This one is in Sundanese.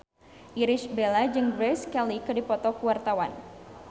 Irish Bella jeung Grace Kelly keur dipoto ku wartawan